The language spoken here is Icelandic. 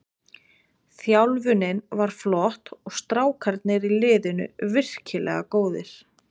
Þjálfunin var flott og strákarnir í liðinu virkilega góðir.